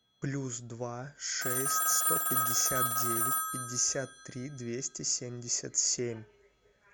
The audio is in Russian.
плюс два шесть сто пятьдесят девять пятьдесят три двести семьдесят семь